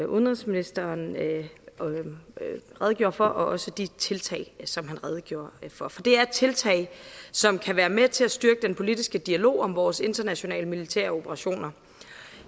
udenrigsministeren redegjorde for og også i de tiltag som han redegjorde for for det er tiltag som kan være med til at styrke den politiske dialog om vores internationale militære operationer